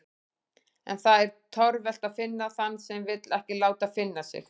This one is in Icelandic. En það er torvelt að finna þann sem vill ekki láta finna sig.